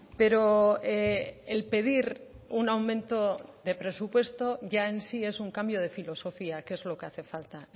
pero el pedir un aumento de presupuesto ya en sí es un cambio de filosofía que es lo que hace falta